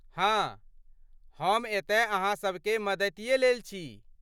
हाँ, हम एतय अहाँ सभके मदतिये लेल छी।